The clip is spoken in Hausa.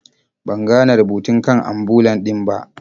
Ban gane rubutun kan ambulan din ba.